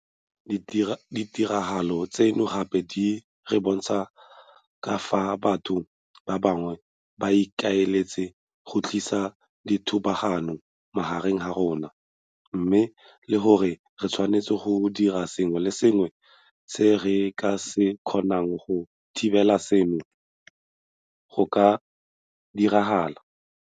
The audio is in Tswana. Ditiragalo tseno gape di re bontsha ka fao batho ba bangwe ba ikaeletseng go tlisa ditlhobogano magareng ga rona, mme le gore re tshwanetse go dira sengwe le sengwe se re ka se kgonang go thibela seno go ka diragala.